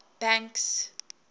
banks